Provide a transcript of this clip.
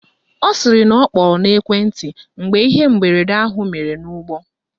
Ọ sịrị na ọ kpọrọ n'ekwenti mgbe ihe mberede ahụ mere n'ụgbọ